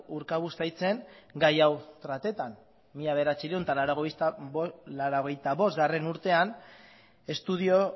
urkabustaizen gai hau tratatzen mila bederatziehun eta laurogeita bostgarrena urtean estudio